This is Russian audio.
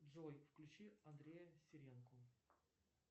джой включи андрея серенко